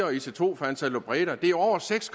og ic2 fra ansaldobreda det er over seks